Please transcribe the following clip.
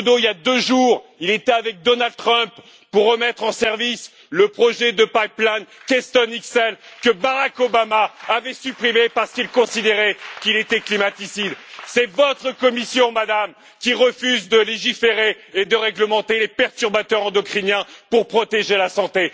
Trudeau, il y a deux jours, était avec Donald Trump pour remettre en service le projet de pipeline Keystone XL, que Barack Obama avait supprimé parce qu'il considérait qu'il était climaticide. C'est votre Commission, Madame, qui refuse de légiférer et de réglementer les perturbateurs endocriniens pour protéger la santé.